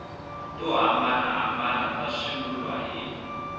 to hambanahambana ta swivulwa hi